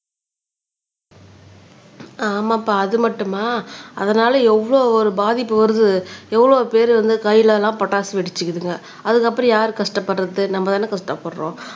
ஆமாப்பா அது மட்டுமா அதனால எவ்வளவு ஒரு பாதிப்பு வருது எவ்வளவு பேர் வந்து கையில எல்லாம் பட்டாசு வெடிச்சுக்குதுங்க அதுக்கப்புறம் யாரு கஷ்டப்படுறது நம்மதானே கஷ்டப்படுறோம்